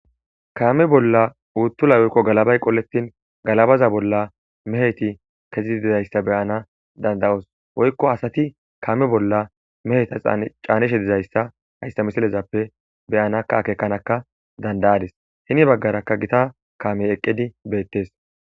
Kame bolla uyulay woyko galabay qoletin galabaza bolla meheti kezidi dizaysa beyana danda'os woyko asati kame bolla meheta canishe dizaysa haysa misile bollape beyanaka akekanaka danda'adis heni bagaraka Gita kamey eqidika beetes